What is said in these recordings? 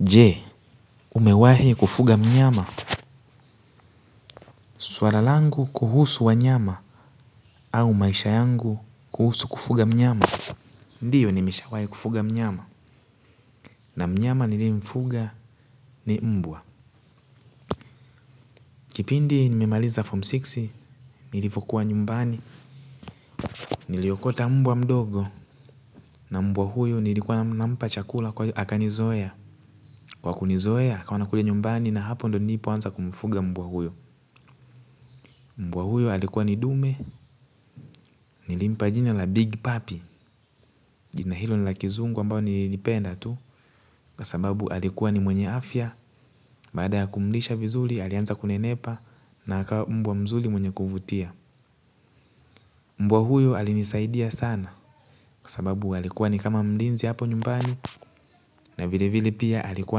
Je, umewahi kufuga mnyama? Swala langu kuhusu wanyama. Au maisha yangu kuhusu kufuga mnyama. Ndiyo, nimeshawahi kufuga mnyama. Na mnyama nilimfuga ni mbwa. Kipindi nimemaliza form sita. Nilivokuwa nyumbani. Niliokota mbwa mdogo, na mbwa huyo nilikuwa nikimpa chakula kwa hiyo akanizoea. Kwa kunizoea hivyo, alikuja nyumbani, na hapo ndipo nilipoanza kumfuga mbwa huyo. Mbwa huyo alikuwa ni dume. Nilimpa jina la Big Puppy. Jina hilo ni la Kizungu, ambalo nililipenda tu kwa sababu alikuwa ni mwenye afya. Baada ya kumlisha vizuri alianza kunenepa. Na akawa mbwa mzuri mwenye kuvutia. Mbwa huyo alinisaidia sana kwa sababu alikuwa ni kama mlinzi hapo nyumbani. Na vile vile pia alikuwa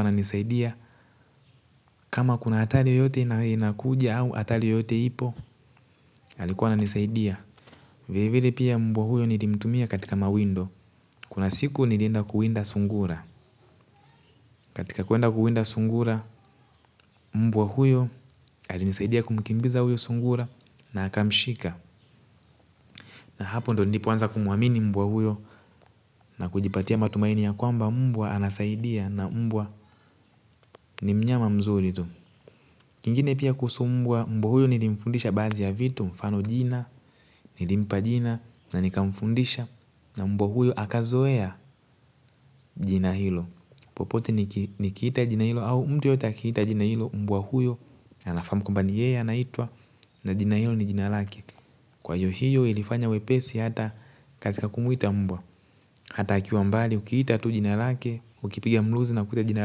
ananisaidia. Kama kuna hatari yoyote inakuja au hatari yoyote ipo. Alikuwa ananisaidia. Vilevile, mbwa huyo nilimtumia katika mawindo. Kuna siku nilienda kuwinda sungura. Katika kuwinda sungura, mbwa huyo alinisaidia kumkimbiza sungura huyo na akamshika. Na hapo ndiyo nilipoanza kumuamini mbwa huyo. Na kujipatia matumaini ya kwamba mbwa anasaidia, na mbwa ni mnyama mzuri tu. Kingine pia kuhusu mbwa, mbwa huyo nilimfundisha baadhi ya vitu, mfano jina. Nilimpa jina na nikamfundisha. Na mbwa huyo akazoea jina hilo. Popote nikiita jina hilo au mtu yeyote akiita jina hilo, mbwa huyo anafahamu kwamba ni yeye anaitwa. Na jina hilo ni jina lake. Kwa hiyo, hiyo ilifanya wepesi hata katika kumwita mbwa. Hata akiwa mbali, ukiita tu jina lake, ukipiga mluzi na kuita jina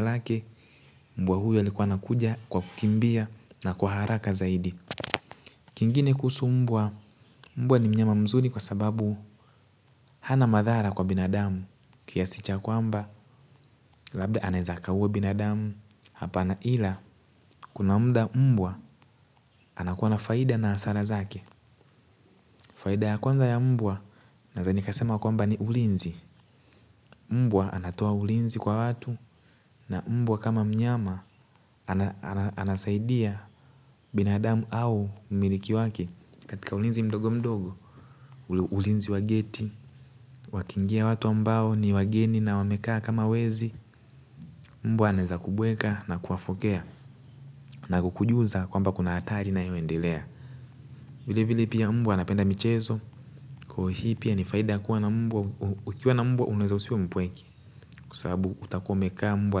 lake. Mbwa huyo alikuwa anakuja kwa kukimbia na kwa haraka zaidi. Kingine kuhusu mbwa, mbwa ni mnyama mzuri kwa sababu hana madhara kwa binadamu. Kiasi cha kwamba labda anaweza akaua binadamu. Hapana. Ia kuna muda mbwa anakuwa na faida na hasara zake. Faida ya kwanza ya mbwa, naweza nikasema kwamba ni ulinzi. Mbwa anatoa ulinzi kwa watu. Na mbwa kama mnyama anasaidia binadamu au mmiliki wake katika ulinzi mdogo mdogo. Ulinzi wa geti; wakiingia watu ambao ni wageni na wamekaa kama wezi, mbwa anaweza kubweka na kuwafokea na kukujuza kwamba kuna hatari inayoendelea. Vilevile, mbwa anapenda michezo. Kwa hiyo, ni faida kuwa na mbwa; ukiwa na mbwa huwezi kuwa mpweke. Kwa sababu utakuwa naye, mbwa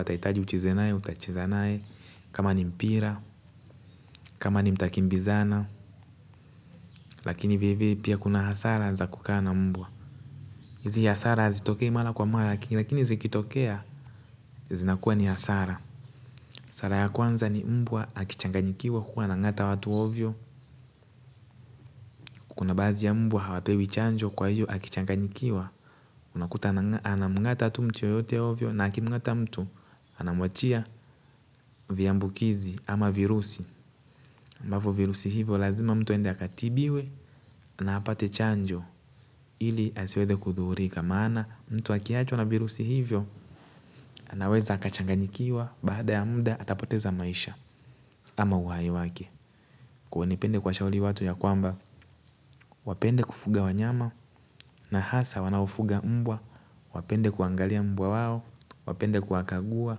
atahitaji kucheza nawe, utacheza naye. Kama ni mpira, kama ni mtakimbizana. Lakini vile vile pia kuna hasara za kukaa na mbwa. Hizi hasara hazitokei mara kwa mara, lakini zikitokea zinakuwa ni hasara. Hasara ya kwanza ni mbwa akichanganyikiwa huwa anang'ata watu ovyo. Baadhi ya mbwa hawapewi chanjo, kwa hiyo akichanganyikiwa unakuta anang'ata tu mtu yeyote ovyo, na akimng'ata mtu anamwachia viambukizi ama virusi. Ambavyo virusi hivyo lazima mtu aende akatibiwe. Anapaswa kupata chanjo ili asiweze kudhuhurika, kama mtu akiambukizwa na virusi hivyo. Anaweza akachanganyikiwa, baada ya muda, atapoteza maisha. Au uhai wake. Kwa hiyo napenda kuwashauri watu ya kwamba wapende kufuga wanyama. Na hasa wanaofuga mbwa, wapende kuangalia mbwa wao, wapende kuwakagua,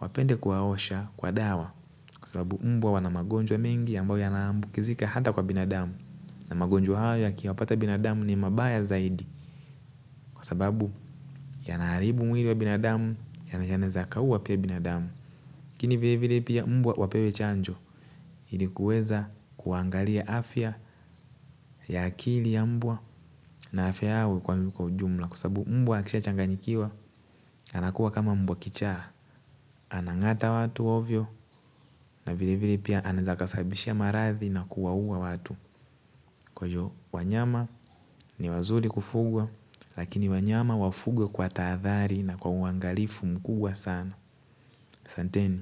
wapende kuwaosha, kuwapa dawa, kwa sababu mbwa wana magonjwa mengi ambayo yanaambukizika ata kwa binadamu. Na magonjwa haya yakiwapata binadamu ni mabaya zaidi kwa sababu yanaharibu mwili wa binadamu yanaweza kaua pia binadamu. Lakini vilevile mbwa wapewe chanjo. Ili kuweza kuwaangalia afya ya akili ya mbwa, na afya yao kwa ujumla kwa sababu mbwa akishachanganyikiwa anakuwa kama mbwa kichaa. Anang'ata watu ovyo, na vilevile pia anaweza kasababisha maradhi na kuwaua watu. Kwa hiyo wanyama ni wazuri kufugwa. Lakini wanyama wafugwe kwa tahadhari na kwa uangalifu mkubwa sana. Asanteni.